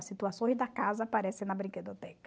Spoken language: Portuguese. As situações da casa aparecem na brinquedoteca.